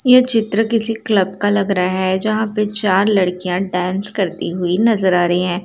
ये चित्र किसी क्लब का लग रहा है जहाँ पे चार लड़कियाँ डांस करती हुई नजर आ रही हैं।